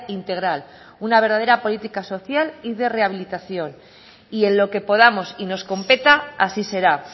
integral una verdadera política social y de rehabilitación y en lo que podamos y nos competa así será